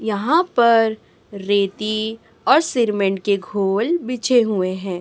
यहां पर रेती और श्रीमेंट के घोल बिछे हुए हैं।